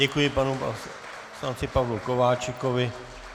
Děkuji panu poslanci Pavlu Kováčikovi.